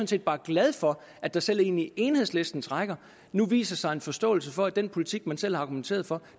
set bare glad for at der selv inde i enhedslistens rækker nu viser sig en forståelse for at den politik man selv har argumenteret for